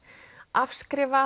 afskrifað